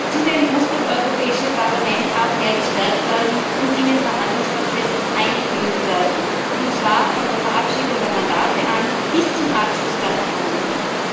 Zudem muss auch weiter das Europäische Parlament gestärkt und in den Verhandlungsprozess eingebunden werden, und zwar von der Verabschiedung der Mandate bis zum Abschluss der Verhandlungen.